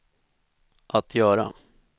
att göra